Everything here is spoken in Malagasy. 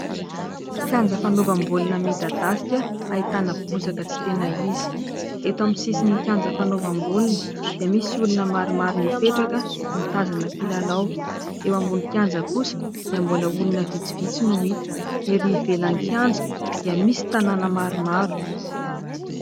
Kianja fanaovam-baolina midadasika, ahitana bozaka tsy tena izy. Eto amin'ny sisin'ny kianja fanaovam-baolina dia misy olona maromaro mipetraka mitazana mpilalao. Eo ambonin'ny kianja kosa dia mbola olona vitsivitsy no hita. Ery ivelan'ny kianja dia misy tanàna maromaro.